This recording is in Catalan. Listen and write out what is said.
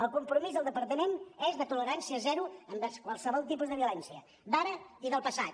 el compromís del departament és de tolerància zero envers qualsevol tipus de violència d’ara i del passat